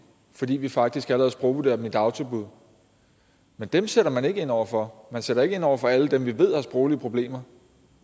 fordi vi faktisk allerede sprogvurderer dem i dagtilbuddene men dem sætter man ikke ind over for man sætter ikke ind over for alle dem vi ved har sproglige problemer